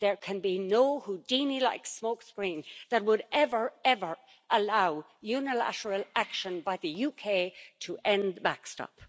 There can be no Houdini like smoke screen that would ever, ever allow unilateral action by the UK to end the backstop.